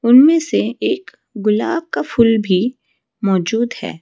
उनमें से एक गुलाब का फूल भी मौजूद है।